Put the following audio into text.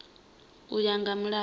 u ya nga milayo ya